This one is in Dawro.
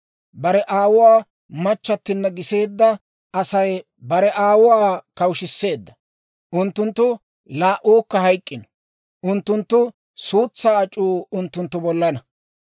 Bare aawuwaa machchattinna giseedda Asay bare aawuwaa kawushshiseedda; unttunttu laa"uukka hayk'k'ino. Unttunttu suutsaa ac'uu unttunttu bollana.